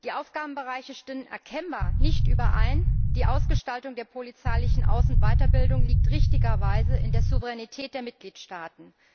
Die Aufgabenbereiche stimmen erkennbar nicht überein, die Ausgestaltung der polizeilichen Aus und Weiterbildung liegt richtigerweise in der Souveränität der Mitgliedstaaten.